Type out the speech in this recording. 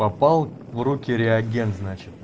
попал в руки реагент значит